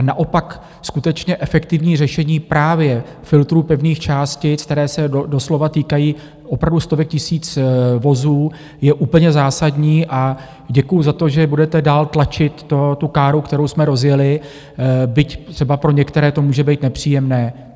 A naopak skutečně efektivní řešení právě filtrů pevných částic, které se doslova týkají opravdu stovek tisíc vozů, je úplně zásadní a děkuji za to, že budete dál tlačit tu káru, kterou jsme rozjeli, byť třeba pro některé to může být nepříjemné.